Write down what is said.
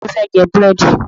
Ta ló fẹ́ jẹ búrèdì